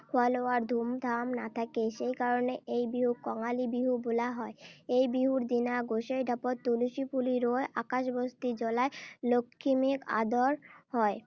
খোৱা-লোৱাৰ ধুমধাম নাথাকে। সেই কাৰণে এই বিহুক কঙালী বিহু বোলা হয়। এই বিহুৰ দিনা গোসীই ঢাপত তুলসী পুলি ৰুই আকাশবস্তি জুলাই লখিমীক আদৰ হয়।